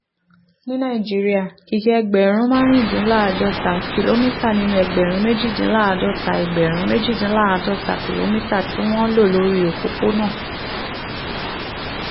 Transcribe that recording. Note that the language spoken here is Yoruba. ní nàìjíríà kìkì ẹgbẹ̀rún márùndínláàádọ́ta kìlómítà nínú ẹgbẹ̀rún méjìdínláàádọ́ta ẹgbẹ̀rún méjìdínláàádọ́ta kìlómítà tí wọ́n ń lò lórí òpópónà